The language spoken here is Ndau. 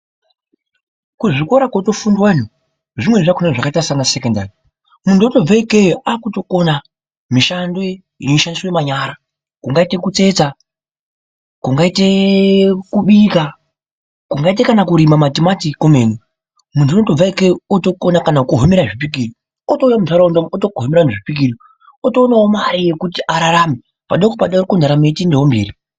Kuzvikora kotofundwa anhu zvimweni zvakaita sanasekendari muntu atobve ikeyo akutokona mishando yeishandiswe manyara kungaite kutsetsa, kungaite kubika, kungaite kana kurima matimati kwemene. Muntu unotobve ikeyo otokona kana kuhomera zvipikiri , otouya mundaraunda umu otogimera anhu zvipikiri. Otoonawo mari yekuti ararame padoko padoko ndaramo ichitoendawo mberi.